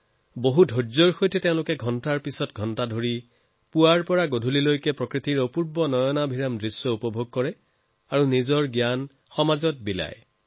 বহু ধৈৰ্যৰে তেওঁলোকে ঘণ্টাৰ পাছত ঘণ্টা পুৱাৰে পৰা সন্ধ্যালৈকে চৰাইৰ সন্ধান কৰিব পাৰে প্ৰকৃতিৰ অনুপম সৌন্দৰ্যৰ আনন্দ লব পাৰে আৰু নিজৰ জ্ঞানক আমাৰ কাষলৈ প্ৰেৰণ কৰে